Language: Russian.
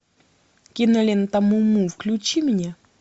кинолента му му включи мне